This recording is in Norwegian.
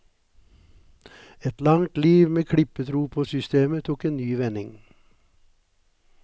Et langt liv med klippetro på systemet tok en ny vending.